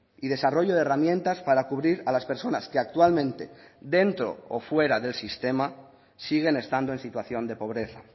y desarrollo de herramientas para cubrir a las personas que actualmente dentro o fuera del sistema siguen estando en situación de pobreza